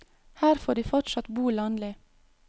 Her får de fortsatt bo landlig.